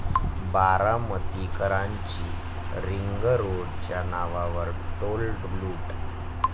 बारामतीकरांची रिंगरोडच्या नावावर टोल लूट